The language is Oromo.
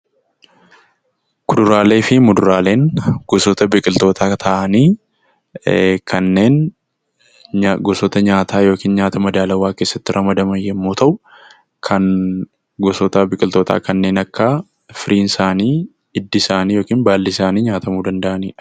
Kuduraalee fi muduraaleen gosoota biqiltootaa ta'anii, kanneen gosoota nyaataa yookiin nyaata madaalawwaa keessatti ramadaman yommuu ta'u, kan gosoota biqiltootaa kanneen akka firiinsaanii, hiddi isaanii yookiin baalli isaanii nyaatamuu danda'anidha.